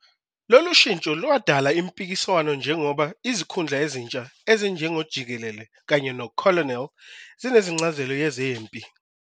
Lolu shintsho lwadala impikiswano njengoba izikhundla ezintsha ezinjengo "jikelele" kanye "no-colonel" zinencazelo yezempi.